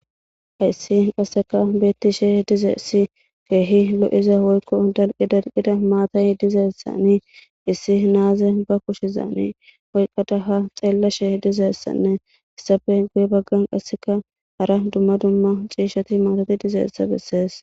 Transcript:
Hayssi qasseka beetti shee dizeessi keehi lo'iza woykko dalqi dalqida maatay dizeessani issi naaze ba kushizani oyqqata ha xeella shee dizeessanne issafe guye baggan qasseka hara dumma dumma ciishati maatati dizeessa bessees.